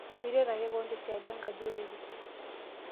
Miret ake kewon te siadi enkaji orere.